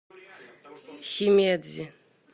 химедзи